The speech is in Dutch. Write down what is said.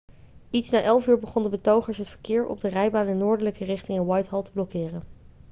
iets na 11.00 uur begonnen betogers het verkeer op de rijbaan in noordelijke richting in whitehall te blokkeren